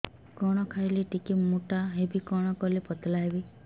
କଣ ଖାଇଲେ ଟିକେ ମୁଟା ହେବି କଣ କଲେ ପତଳା ହେବି